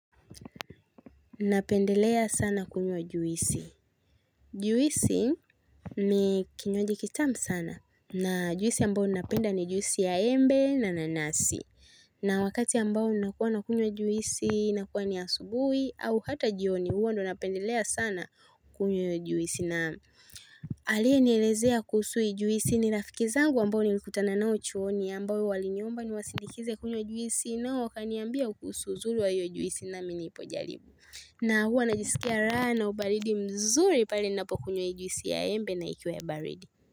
Napendelea sana kunyo juisi. Juisi ni kinywaji kitamu sana na juisi ambayo napenda ni juisi ya embe na nanasi. Na wakati ambao nakua nakunywa juisi, inakuwa ni asubuhi au ata jioni, huwa ndio napendelea sana kunywa hio juisi na aliyenielezea kuhusu hii juisi ni rafiki zangu ambao nilikutana nao chuoni ambao waliniomba niwasindikize kunywa juisi na wakaniambia kuhusu uzuri wa hio juisi nami nikajaribu. Na hua najisikia raha ubaridi mzuri pale ninapokunywa juisi ya embe na ikiwa baridi.